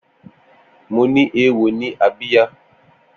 Mó ni éwó ni ábíyá